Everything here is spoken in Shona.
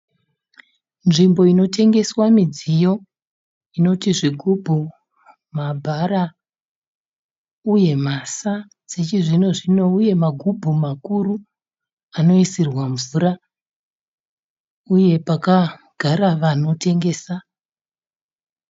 Nzvimbo inotengeswa midziyo inoti zvigubhu ,mabhara uye mhasa dzechizvino-zvino. Uye magumbu makuru anoisirwa mvura uye pakagara vanotengesa.